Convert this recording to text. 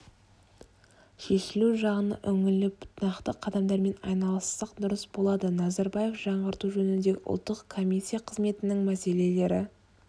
шешілу жағына үңіліп нақты қадамдармен айналыссақ дұрыс болады назарбаев жаңғырту жөніндегі ұлттық комиссия қызметінің мәселелері